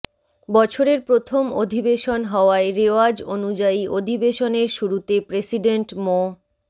বছরের প্রথম অধিবেশন হওয়ায় রেওয়াজ অনুযায়ী অধিবেশনের শুরুতে প্রেসিডেন্ট মো